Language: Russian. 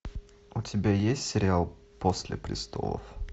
у тебя есть сериал после престолов